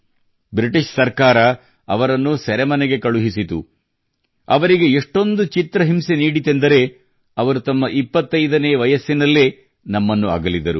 British ಸರ್ಕಾರವು ಅವರನ್ನು ಸೆರೆಮನೆಗೆ ಕಳುಹಿಸಿತು ಅವರಿಗೆ ಎಷ್ಟೊಂದು ಚಿತ್ರಹಿಂಸೆ ನೀಡಿತೆಂದರೆ ಅವರು ತಮ್ಮ 25 ನೇವರ್ಷದಲ್ಲೇ ನಮ್ಮನ್ನು ಅಗಲಿದರು